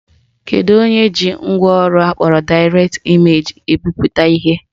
Kedu onye ji ngwaọrụ akpọrọ Direct Image bipụta ihe?